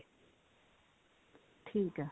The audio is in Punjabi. ਠੀਕ ਹੈ